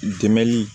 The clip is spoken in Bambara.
Dɛmɛni